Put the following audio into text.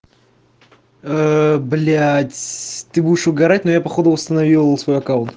ээ блять ты будешь угарать но я походу восстановил свой аккаунт